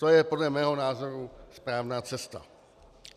To je podle mého názoru správná cesta.